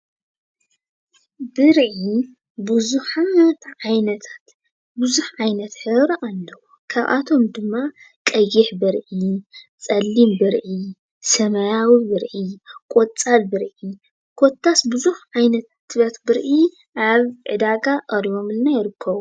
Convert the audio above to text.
ብርዒ ብዙሓት ዓይነት ሕብሪ ኣለዎም። ካብኣቶም ድማ ቀይሕ ብርዒ፣ ፀሊም ብርዒ ፣ሰማያዊ ብርዒ ፣ቆፃል ብርዒ ኮታስ ብዙሓት ዓይነታት ብርዒ ኣብ ዕዳጋ ቀሪቦሙልና ይርከቡ።